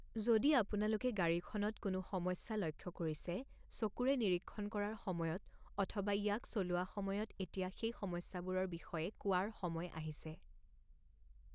যদি আপোনালোকে গাড়ীখনত কোনো সমস্যা লক্ষ্য কৰিছে চকুৰে নিৰীক্ষণ কৰাৰ সময়ত অথবা ইয়াক চলোৱা সময়ত এতিয়া সেই সমস্যাবোৰৰ বিষয়ে কোৱাৰ সময় আহিছে।